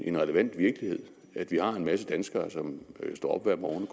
en relevant virkelighed at vi har en masse danskere som står op hver morgen